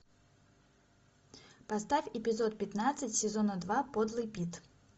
поставь эпизод пятнадцать сезона два подлый пит